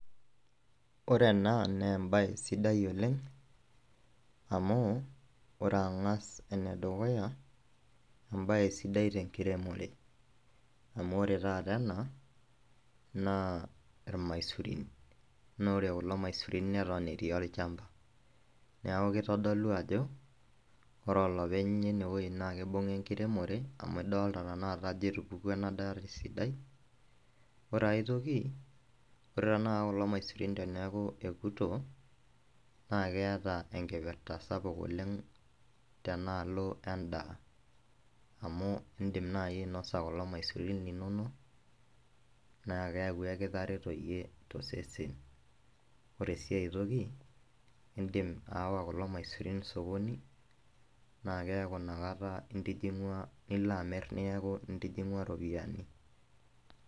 Ore ena na embae sidai oleng amu ore angas enedukuya, embae sidai tenkiremore, amu ore taata ena na irmaisurin, na ore kulo maisurin neton etii olchamba, neaku kitodolu ajo ore olopeny lenewueji na kibunga enkiremore amu idolta tanakata ajo etupukuo enadaa esidai, ore enkai toki ,ore tanakata kulo maisurin teneaku ekuto na eata enkipirta sapuk oleng tenaalo endaa amu indim naai ainasa kulo maisurin linonok neaku kitareto iyie tosesesn, ore si aitoki indimbayawa kulo maisurin osokoni neaku inakata intijingwa nilo amir neaku intijingwa ropiyani.